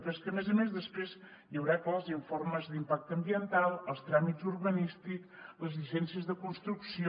però és que a més a més després hi haurà clar els informes d’impacte ambiental els tràmits urbanístics les llicències de construcció